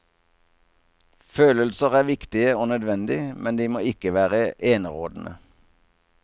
Følelser er viktige og nødvendig, men de må ikke være enerådende.